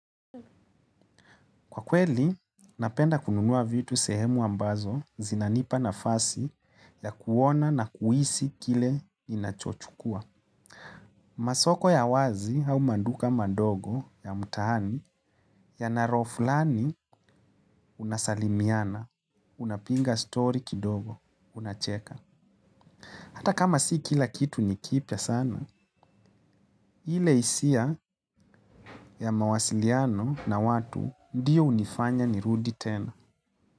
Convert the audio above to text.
Kwa kweli, napenda kununua vitu sehemu ambazo zinanipa nafasi ya kuona na kuhisi kile nachochukua. Masoko ya wazi au maduka mandogo ya mtaani yanaroflani unasalimiana, unapiga story kidogo, unacheka. Hata kama si kila kitu nikipya sana, ile hisia ya mawasiliano na watu ndiyo hunifanya ni rudi tena.